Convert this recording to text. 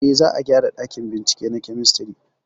Eh, za a gyara ɗakin bincike na kemistri